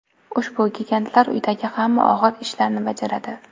Ushbu gigantlar uydagi hamma og‘ir ishlarni bajaradi.